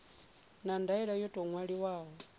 na ndaela yo tou ṅwaliwaho